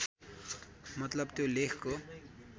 मतलब त्यो लेखको